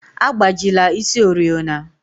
Agbajila isi oriọna!